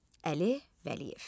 Əli Vəliyev.